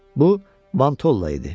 Bu Vantolla idi.